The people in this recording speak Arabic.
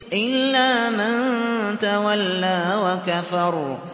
إِلَّا مَن تَوَلَّىٰ وَكَفَرَ